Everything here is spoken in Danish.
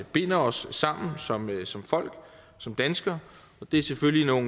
binder os sammen sammen som folk som danskere og det er selvfølgelig